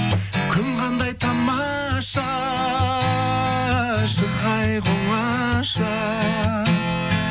күн қандай тамаша шығайық оңаша